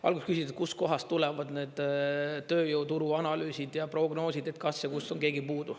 Alguses küsisite, et kustkohast tulevad need tööjõuturu analüüsid ja prognoosid, et kas ja kus on keegi puudu.